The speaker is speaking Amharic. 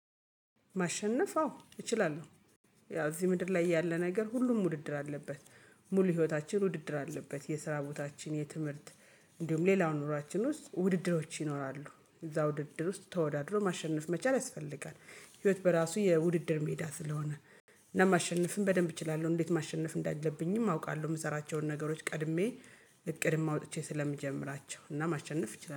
ማሸነፍ አዎ እችላለሁ ያው እዚህ ምድር ላይ ያለ ነገር ሁሉም ውድድር አለበት። ሙሉ ህይወታችን ውድድር አለበት፤ የስራ ቦታችን፣ የትምህርት፣ እንዲሁም ሌላው ኑሯችን ውስጥ ውድድሮች ይኖራሉ እዛው ውድድር ውስጥ ተወዳድሮ ማሸነፍ መቻል ያስፈልጋል ህይወት በራሱ የውድድር ሜዳ ስለሆነ እና ማሸነፍም በደንብ እችላለሁ እንዴት ማሸነፍ እንዳለብኝም አውቃለሁ የምሰራቸውን ነገሮች ቀድሜ እቅድም አውጥቼ ስለምጀምራቸው እና ማሸነፍ እችላለሁ።